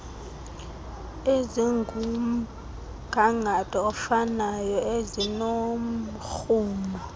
ezingumgangatho ofanayo ezinomrhumo